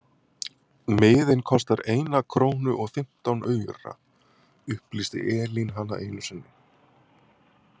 Miðinn kostar eina krónu og fimmtán aura, upplýsti Elín hana einu sinni.